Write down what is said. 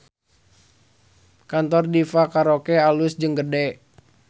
Kantor Diva Karaoke alus jeung gede